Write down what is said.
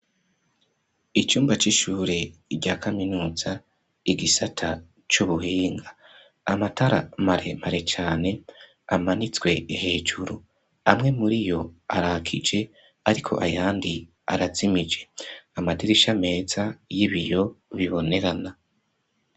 Icumba c'ishure, rya kaminuza, igisata c'ubuhinga; amatara, mare mare cane, amanitswe hejuru; amwe muri yo, arakije; ariko ayandi, arazimije; amadirisha meza, y'ibiyo bibonerana.